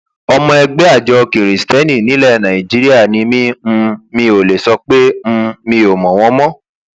ọmọ ẹgbẹ àjọ kiristeni nílẹ nàìjíríà ni mi um mi ò lè sọ pé um mi ò mọ wọn mọ